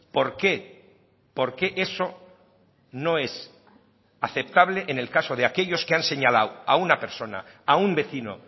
por qué por qué eso no es aceptable en el caso de aquellos que han señalado a una persona a un vecino